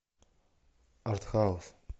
арт хаус